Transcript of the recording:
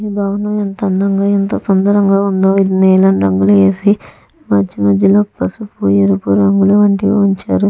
ఈ భవనం అంత ఎంత అందంగా ఎంతో సుందరంగా ఉందొ ఇది నీలం రంగు వేసి మధ్య మధ్యలో పసుపు ఎరుపు రంగులు వంటివి ఉంచారు .